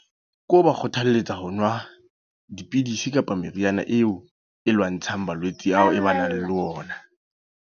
Ke ho ba kgothalletsa ho nwa, dipidisi kapa meriana eo, e lwantshang malwetse ao e ba nang le ona.